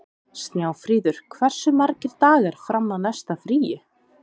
Snjáfríður, hversu margir dagar fram að næsta fríi?